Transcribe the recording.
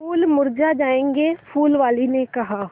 फूल मुरझा जायेंगे फूल वाली ने कहा